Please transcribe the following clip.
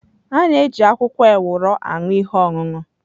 A ga-eji akwụkwọ ewuro aṅụ ihe ọṅụṅụ.